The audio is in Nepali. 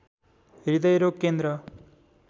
हृदयरोग केन्द्र